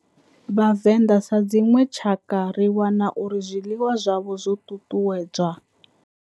Vhavenda sa dzinwe tshakha ri wana uri zwiḽiwa zwavho zwo tutuwedzwa.